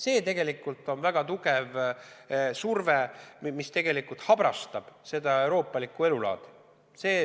See tegelikult on väga tugev surve, mis habrastab euroopalikku elulaadi.